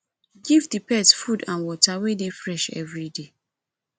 give di pet food and water wey dey fresh everyday